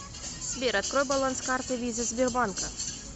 сбер открой баланс карты виза сбербанка